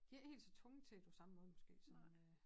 De ikke helt så tvunget til det på samme måde måske som øh